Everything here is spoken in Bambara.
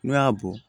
N'u y'a bɔ